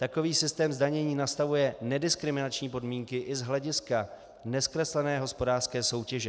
Takový systém zdanění nastavuje nediskriminační podmínky i z hlediska nezkreslené hospodářské soutěže.